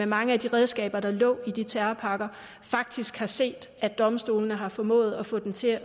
mange af de redskaber der lå i de terrorpakker faktisk har set at domstolene har formået at få det til at